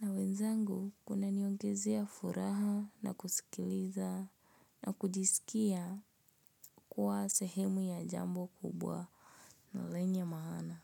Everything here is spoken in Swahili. Na wenzangu kunaniongezea furaha na kusikiliza na kujisikia kuwa sehemu ya jambo kubwa na lenye maana.